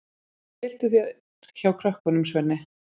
Tylltu þér hjá krökkunum, Svenni.